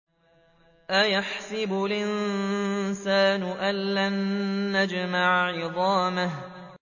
أَيَحْسَبُ الْإِنسَانُ أَلَّن نَّجْمَعَ عِظَامَهُ